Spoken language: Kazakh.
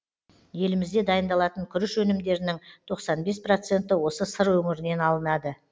елімізде дайындалатын күріш өнімдерінің тоқсан бес проценті осы сыр өңірінен алынады